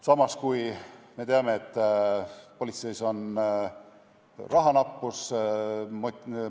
Samas me teame, et politseis on rahanappus.